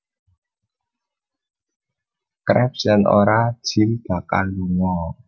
Krabs yen ora Jim bakal lunga